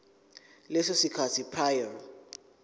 leso sikhathi prior